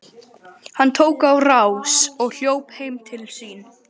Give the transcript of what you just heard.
Hann tók á rás og hljóp heim til sín.